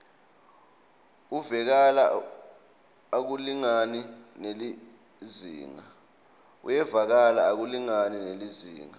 uyevakala akulingani nelizingaa